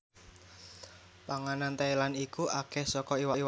Panganan Thailand iku akeh soko iwak laut lan nganggo santen